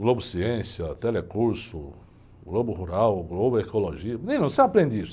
Globo Ciência, Telecurso, Globo Rural, Globo Ecologia. Menino, você aprende isso?